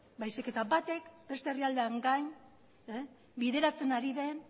baizik eta batek beste herrialdeen gain bideratzen ari den